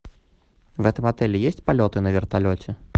в этом отеле есть полеты на вертолете